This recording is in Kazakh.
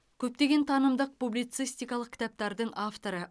көптеген танымдық публицистикалық кітаптардың авторы